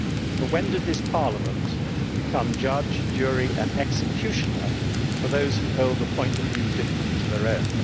But when did this Parliament become judge, jury and executioner for those who held a point of view different to their own?